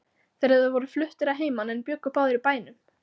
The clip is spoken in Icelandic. Þeir voru fluttir að heiman en bjuggu báðir í bænum.